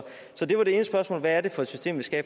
det var det ene spørgsmål hvad er det for system vi skal